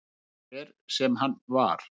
Hver sem hann var.